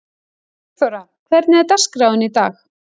Sigþóra, hvernig er dagskráin í dag?